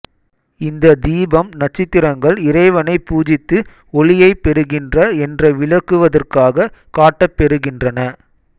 இந்த தீபம் நட்சத்திரங்கள் இறைவனை பூஜித்து ஒளியைப் பெறுகின்ற என்ற விளக்குவதற்காக காட்டப்பெறுகின்றன